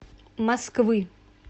москвы